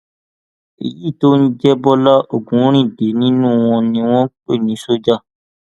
èyí tó ń jẹ bọlá ogunríndé nínú wọn ni wọn pè ní ṣọjà